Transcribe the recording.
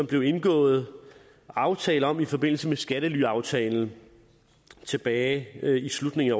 blev indgået aftale om i forbindelse med skattelyaftalen tilbage i slutningen af